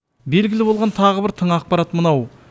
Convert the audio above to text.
белгілі болған тағы бір тың ақпарат мынау